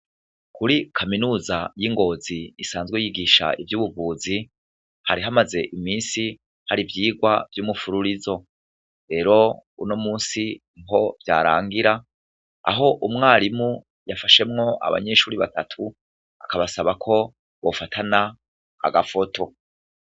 Kuri kaminuza y' ingozi isanzwe yigisha ivy'ubuvuzi , hari hamaze iminsi hari ivyirwa vy' umufuririzo .Rero uno munsi niho vyarangira , aho umwarimu yafashemwo abanyeshuri batatu , akabasaba ko bafatana agafoto .